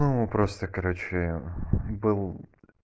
ну просто короче был